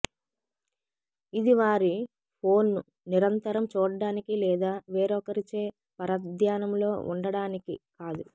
ఇది వారి ఫోన్ను నిరంతరం చూడడానికి లేదా వేరొకరిచే పరధ్యానంలో ఉండటానికి కాదు